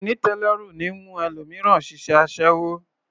Àìnítẹ̀ẹ́lọ́rùn ní mú ẹlòmíràn ṣiṣẹ́ aṣẹ́wó